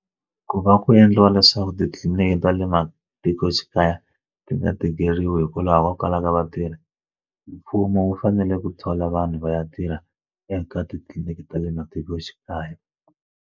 Ku va ku endliwa leswaku titliliniki ta le matikoxikaya ti nga tikeriwi hikwalaho ko kalaka vatirhi mfumo wu fanele ku thola vanhu va ya tirha eka titliliniki ta le matikoxikaya.